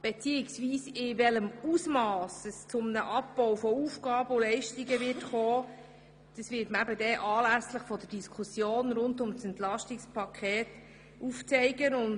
In welchem Ausmass es zu einem Abbau von Leistungen kommen wird, wird man anlässlich der Diskussion rund um das Entlastungspaket aufzeigen.